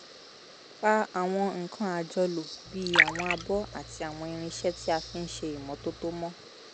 pa àwọn nǹkan àjọlò bíi àwọn abọ́ àti àwọn irinṣẹ́ tí a fi ń ṣe ìmọ́tótó mọ́